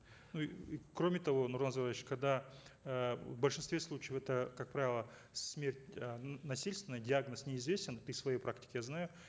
ну и кроме того нурлан зайроллаевич когда э в большинстве случаев это как правило смерть э насильственная диагноз неизвестен при своей практике я знаю